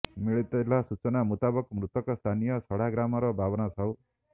ମିଳିଥିବା ସୂଚନା ମୁତାବକ ମୃତକ ସ୍ଥାନୀୟ ଶଢା ଗ୍ରାମର ବାବନ ସାହୁ